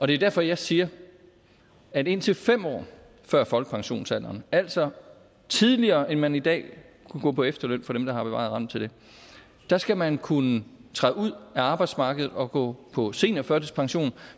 det er derfor jeg siger at indtil fem år før folkepensionsalderen altså tidligere end man i dag kan gå på efterløn for dem der har bevaret retten til det skal man kunne træde ud af arbejdsmarkedet og gå på seniorførtidspension